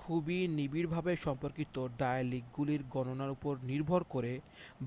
খুবই নিবিড়ভাবে সম্পর্কিত ডায়ালিকগুলির গণনার উপর নির্ভর করে